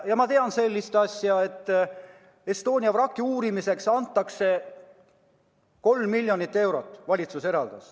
Ma tean, et Estonia vraki uurimiseks eraldas valitsus 3 miljonit eurot.